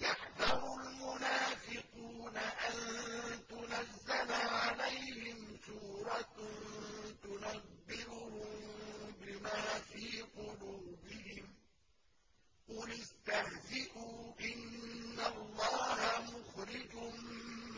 يَحْذَرُ الْمُنَافِقُونَ أَن تُنَزَّلَ عَلَيْهِمْ سُورَةٌ تُنَبِّئُهُم بِمَا فِي قُلُوبِهِمْ ۚ قُلِ اسْتَهْزِئُوا إِنَّ اللَّهَ مُخْرِجٌ